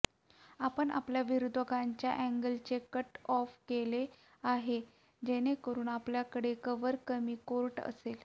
आपण आपल्या विरोधकांच्या अँगलचे कट ऑफ केले आहे जेणेकरून आपल्याकडे कव्हर कमी कोर्ट असेल